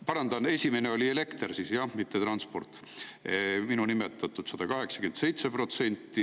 Parandan: esimene oli elekter, jah, mitte transport, see minu nimetatud 187%.